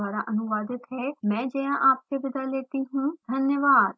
यह स्क्रिप्ट श्रुति आर्य द्वारा अनुवादित है मैं जया आपसे विदा लेती हूँ धन्यवाद